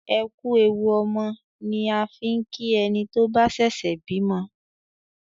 "ẹkú ẹwù ọmọ" ni a fín ki ẹní tó bà ṣẹṣẹ bímọ